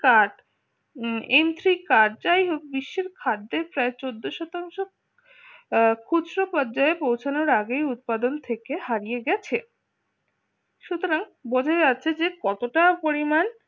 কাট electric cut যাই হোক বিশ্বের খাদ্যের প্রায় চোদ্দ শতাংশ পর্যায়ে পৌঁছানোর আগেই উৎপাদন থেকে হারিয়ে গেছে সুতরাং বোঝা যাচ্ছে যে কতটা পরিমাণ